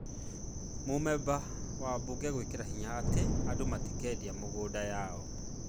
Mũmemba wa Bunge gwĩkĩra hinya atĩ andũ matikaendia mĩgũnda yao